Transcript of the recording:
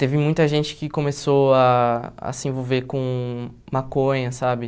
Teve muita gente que começou a a se envolver com maconha, sabe?